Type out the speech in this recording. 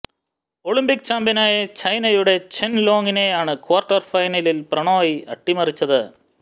Olympic ചാംപ്യനായ ചൈനയുടെ Chen ലോങിനെയാണ് ക്വാര്ട്ടര് ഫൈനലില് പ്രണോയ് അട്ടിമറിച്ചത്